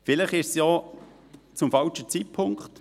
Vielleicht ist es auch der falsche Zeitpunkt.